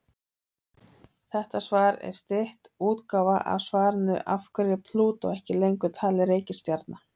Þetta svar er stytt útgáfa af svarinu Af hverju er Plútó ekki lengur talin reikistjarna?